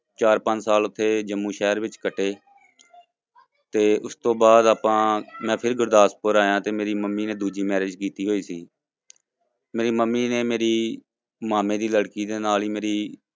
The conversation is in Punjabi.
ਚਾਰ ਪੰਜ ਸਾਲ ਉੱਥੇ ਜੰਮੂ ਸ਼ਹਿਰ ਵਿੱਚ ਕੱਟੇ ਤੇ ਉਸਤੋਂ ਬਾਅਦ ਆਪਾਂ ਮੈਂ ਫਿਰ ਗੁਰਦਾਸਪੁਰ ਆਇਆਂ ਤੇ ਮੇਰੀ ਮੰਮੀ ਨੇ ਦੂਜੀ marriage ਕੀਤੀ ਹੋਈ ਸੀ ਮੇਰੀ ਮੰਮੀ ਨੇ ਮੇਰੀ ਮਾਮੇ ਦੀ ਲੜਕੀ ਦੇ ਨਾਲ ਹੀ ਮੇਰੀ